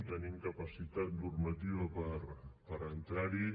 tenim capacitat normativa per entrar hi